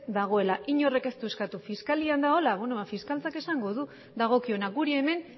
dagoela inork ez du eskatu fiskalian dagoela beno ba fiskaltzak esango du dagokiona guri hemen